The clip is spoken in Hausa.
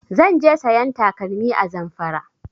Zan je sayan takalmi a Zamfara